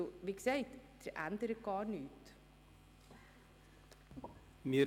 Wie gesagt, würde sich damit überhaupt nichts ändern.